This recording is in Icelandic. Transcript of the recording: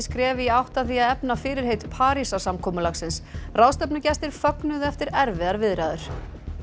skref í átt að því að efna fyrirheit Parísarsamkomulagsins ráðstefnugestir fögnuðu eftir erfiðar viðræður